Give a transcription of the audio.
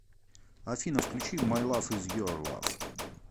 афина включи май лав из ер лав